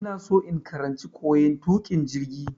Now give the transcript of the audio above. Ina so in karanci koyan tukin jirgi.